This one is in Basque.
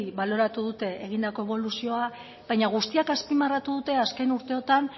baloratu dute egindako eboluzioa baina guztiek azpimarratu dute azken urteotan